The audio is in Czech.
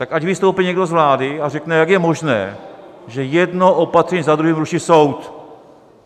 Tak ať vystoupí někdo z vlády a řekne, jak je možné, že jedno opatření za druhým ruší soud.